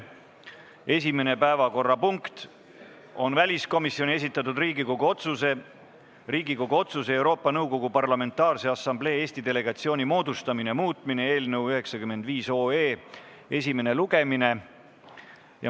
Esimene päevakorrapunkt on väliskomisjoni esitatud Riigikogu otsuse "Riigikogu otsuse "Euroopa Nõukogu Parlamentaarse Assamblee Eesti delegatsiooni moodustamine" muutmine" eelnõu 95 esimene lugemine.